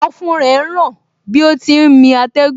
Ọ̀fun rẹ ń ràn bí ó ti ń mí atẹ́gùn